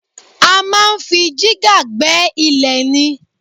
A máa ń fi jígà gbẹ́ ilẹ̀ ni